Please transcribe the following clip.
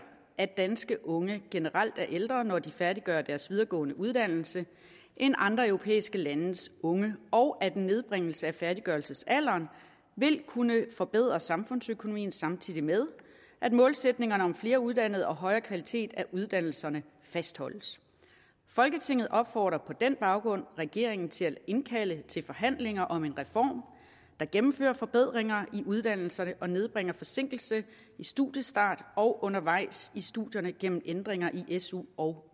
at danske unge generelt er ældre når de færdiggør deres videregående uddannelse end andre europæiske landes unge og at en nedbringelse af færddiggørelsesalderen vil kunne forbedre samfundsøkonomien samtidig med at målsætningerne om flere uddannede og højere kvalitet af uddannelserne fastholdes folketinget opfordrer på den baggrund regeringen til at indkalde til forhandlinger om en reform der gennemfører forbedringer i uddannelserne og nedbringer forsinkelse i studiestart og undervejs i studierne gennem ændringer i su og